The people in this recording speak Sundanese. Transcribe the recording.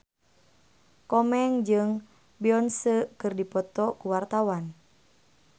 Komeng jeung Beyonce keur dipoto ku wartawan